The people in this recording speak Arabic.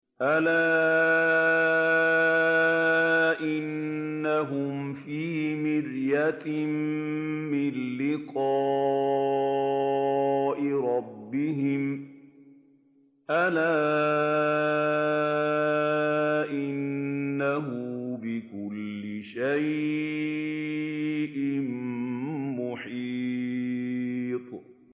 أَلَا إِنَّهُمْ فِي مِرْيَةٍ مِّن لِّقَاءِ رَبِّهِمْ ۗ أَلَا إِنَّهُ بِكُلِّ شَيْءٍ مُّحِيطٌ